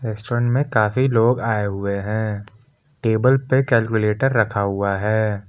Restaurant में काफी लोग आए हुए हैं टेबल पे कैलकुलेटर रखा हुआ हैं।